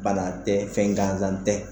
Bana tɛ fɛn ganzan tɛ.